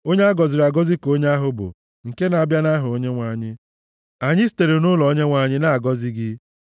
Onye a gọziri agọzi ka onye ahụ bụ, nke na-abịa nʼaha Onyenwe anyị. Anyị sitere nʼụlọ Onyenwe anyị na-agọzi gị.